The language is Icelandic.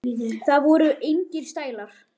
Það voru engir stælar.